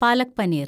palak paneer